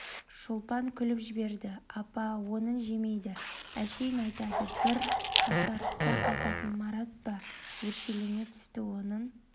шолпан күліп жіберді апа онын жемейді әшейін айтады бір қасарысса кайтатын марат па өршелене түсті онын